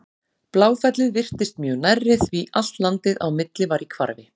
Bláfellið virtist mjög nærri því allt landið á milli var í hvarfi.